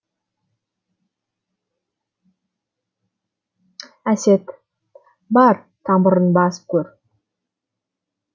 әсет бар тамырын басып көр